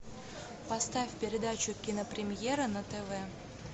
поставь передачу кинопремьера на тв